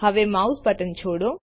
હવે mouse button છોડો